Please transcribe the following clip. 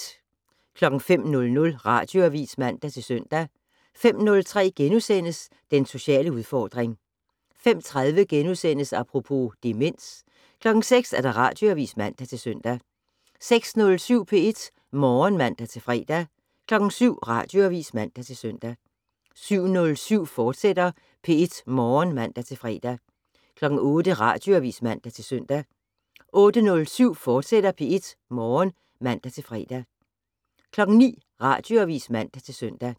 05:00: Radioavis (man-søn) 05:03: Den sociale udfordring * 05:30: Apropos - demens * 06:00: Radioavis (man-søn) 06:07: P1 Morgen (man-fre) 07:00: Radioavis (man-søn) 07:07: P1 Morgen, fortsat (man-fre) 08:00: Radioavis (man-søn) 08:07: P1 Morgen, fortsat (man-fre) 09:00: Radioavis (man-søn)